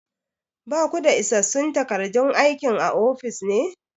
Ba ku da isassun takardun aikin a ofis ne?